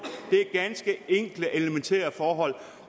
ganske enkle elementære forhold